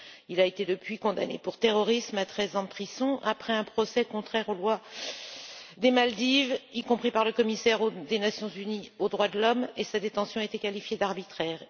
Depuis, il a été condamné pour terrorisme à 13 ans de prison, après un procès jugé contraire aux lois des Maldives, y compris par le commissaire des Nations unies aux droits de l'homme, et sa détention a été qualifiée d'arbitraire.